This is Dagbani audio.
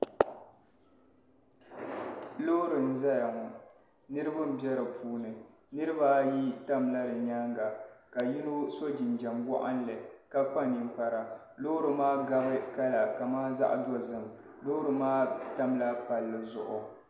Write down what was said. Loori n zaya ŋɔ niriba n bɛ di puuni niriba ayi tam la di yɛanga ka yino so jinjam waɣinli ka kpa ninkpara loori maa gabi kala kaman zaɣi dozim loori maa tam la palli zuɣu.